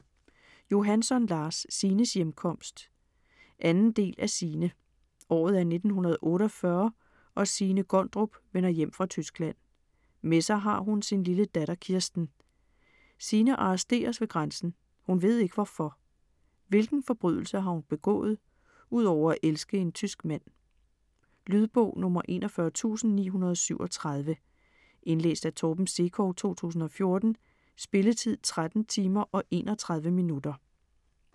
Johansson, Lars: Signes hjemkomst 2. del af Signe. Året er 1948 og Signe Gondrup vender hjem fra Tyskland. Med sig har hun sin lille datter Kirsten. Signe arresteres ved grænsen, hun ved ikke hvorfor? Hvilken forbrydelse har hun begået - udover at elske en tysk mand? Lydbog 41937 Indlæst af Torben Sekov, 2014. Spilletid: 13 timer, 31 minutter.